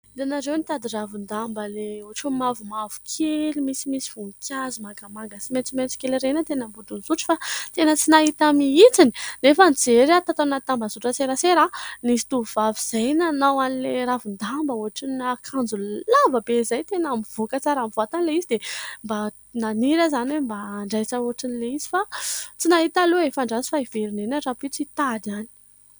Hitanareo : nitady ravin-damba Ilay ohatran'ny mavomavo kely misy misy voninkazo mangamanga sy maitsomaitso kely ireny teny ambodin'isotry fa tena tsy nahita mihintsy, nefa nijery aho tato anaty tambazotran -tserasera ,nisy tovovavy zay nanao an'ilay ravin-damba ohatran'ny akanjo lavabe izay, tena nivoaka tsara amin'ny vatany Ilay izy, dia mba naniry aho izany hoe mba hanjaitra hoatran'ilay izy, fa tsy nahita aho aloha e.Andraso fa hiverina any aho rahampitso hitady any.